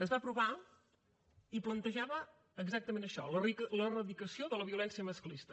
es va aprovar i plantejava exactament això l’eradicació de la violència masclista